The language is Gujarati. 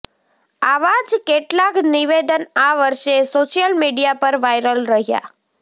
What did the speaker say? આવા જ કેટલાક નિવેદન આ વર્ષે સોશિયલ મીડિયા પર વાયરલ રહ્યા